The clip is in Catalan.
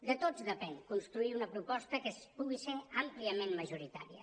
de tots depèn construir una proposta que pugui ser àmpliament majoritària